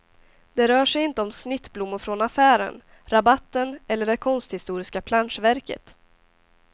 Det rör sig inte om snittblommor från affären, rabatten eller det konsthistoriska planschverket.